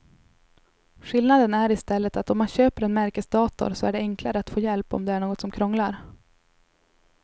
Skillnaden är i stället att om man köper en märkesdator så är det enklare att få hjälp om det är något som krånglar.